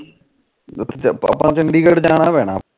ਚੰਡੀਗੜ ਜਾਣਾ ਪੈਣਾ